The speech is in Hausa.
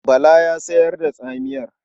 Bala yana sayar da tsamiyar.